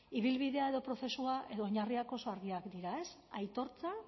ibilbidea edo prozesua edo oinarriak oso argiak dira ez aitortza